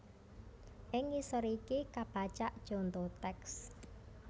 Ing ngisor iki kapacak conto tèks